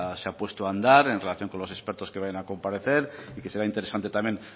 se ha puesto a andar en relación con los expertos que van a comparecer y que sería interesante también